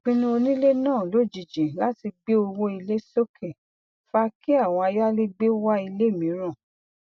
ìpinnu onílé náà lojiji láti gbé owó ilé soke fa kí àwọn ayálẹgbẹ wá ilé mìíràn